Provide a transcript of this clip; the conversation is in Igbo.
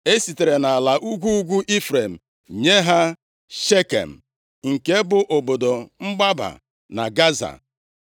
E sitere nʼala ugwu ugwu Ifrem nye ha: Shekem, nke bụ obodo mgbaba na Gaza,